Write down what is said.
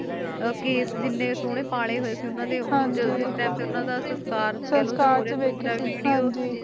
ਓਹਨਾ ਦੇ ਮਾਤਾ ਨੇ, ਕਿਸ ਕਿਨੈ ਸੋਨੇ ਪਾਲੇ ਹੋਈ ਸੇ ਓਹਨਾ ਨੇ ਸਸਕਾਰ ਵਾਲੀ ਵੀਡੀਓ ਵਿਚ